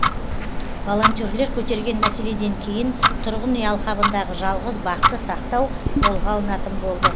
волонтерлер көтерген мәселеден кейін тұрғын үй алқабындағы жалғыз бақты сақтау қолға алынатын болды